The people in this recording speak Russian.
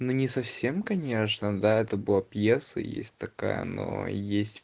но не совсем конечно да это была пьеса и есть такая но есть